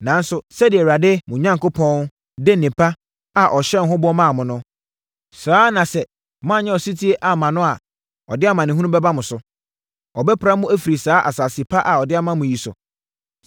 Nanso, sɛdeɛ Awurade, mo Onyankopɔn de nnepa a ɔhyɛɛ ho bɔ maa mo no, saa ara na sɛ moannyɛ ɔsetie amma no a ɔde amanehunu bɛba mo so. Ɔbɛpra mo afiri saa asase pa a ɔde ama mo yi so.